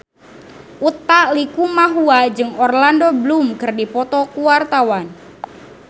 Utha Likumahua jeung Orlando Bloom keur dipoto ku wartawan